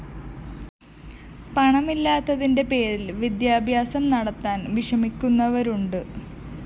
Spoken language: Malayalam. പണമില്ലാത്തതിന്റെ പേരില്‍ വിദ്യാഭ്യാസം നടത്താന്‍ വിഷമിക്കുന്നവരുണ്ട്